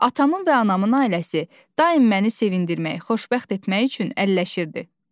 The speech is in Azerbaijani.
Atamın və anamın ailəsi daim məni sevindirmək, xoşbəxt etmək üçün əlləşirdi.